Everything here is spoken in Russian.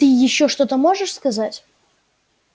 ты ещё что-то можешь сказать